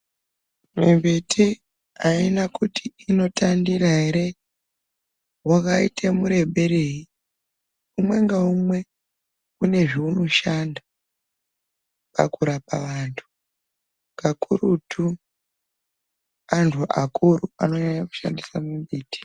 Mimbiti aina kuti unotandira ere wakaita mureberei umwe ngaumwe une zvaunoshanda pakurapa vanthu kakurutu anthu akuru anonyanya kushandisa mimbiti.